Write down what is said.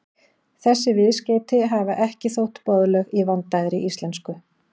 Þessi viðskeyti hafa ekki þótt boðleg í vandaðri íslensku.